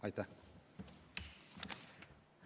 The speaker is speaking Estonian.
Aitäh!